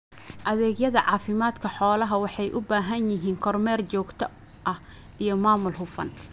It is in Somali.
Adeegyada caafimaadka xoolaha waxay u baahan yihiin kormeer joogto ah iyo maamul hufan.